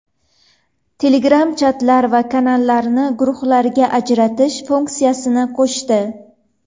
Telegram chatlar va kanallarni guruhlarga ajratish funksiyasini qo‘shdi.